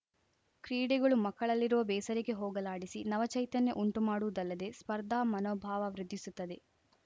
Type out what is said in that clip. ಕ್ರೀಡೆಗಳು ಮಕ್ಕಳಲ್ಲಿರುವ ಬೇಸರಿಕೆ ಹೋಗಲಾಡಿಸಿ ನವಚೈತನ್ಯ ಉಂಟು ಮಾಡುವುದಲ್ಲದೇ ಸ್ಪರ್ಧಾ ಮನೋಭಾವ ವೃದ್ಧಿಸುತ್ತದೆ